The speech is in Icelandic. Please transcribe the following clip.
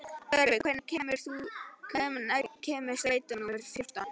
Tjörvi, hvenær kemur strætó númer fjórtán?